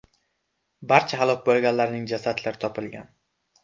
Barcha halok bo‘lganlarning jasadlari topilgan.